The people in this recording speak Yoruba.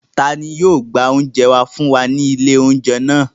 Ta ni yóò gbé oúnjẹ wá fún wa ní ilé-oúnjẹ náà?